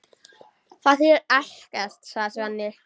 Það þýðir ekkert, sagði Svenni.